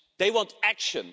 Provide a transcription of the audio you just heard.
They want action.